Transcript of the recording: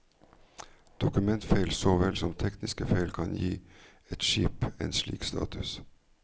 Dokumentfeil så vel som tekniske feil kan gi et skip en slik status.